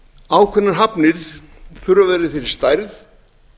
ákveðnar hafnir þurfa að vera í þeirri stærð